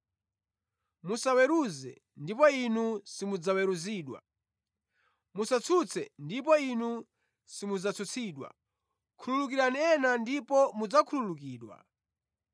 “Musaweruze, ndipo inu simudzaweruzidwa. Musatsutse ndipo inu simudzatsutsidwa. Khululukirani ena ndipo mudzakhululukidwa.